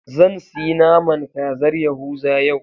Zan siyi naman kazar yahuza yau.